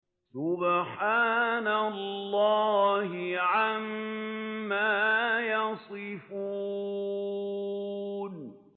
سُبْحَانَ اللَّهِ عَمَّا يَصِفُونَ